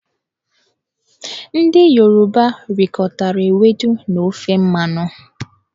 Ndị Yoruba rikọtara ewedu na ofe mmanụ.